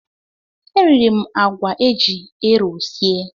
E riri m àgwà eji ero sie.